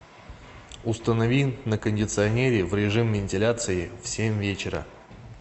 установи на кондиционере в режим вентиляции в семь вечера